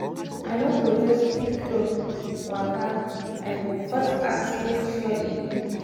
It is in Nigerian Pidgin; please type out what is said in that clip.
i no go just take cloth waka i go first ask make sure e good.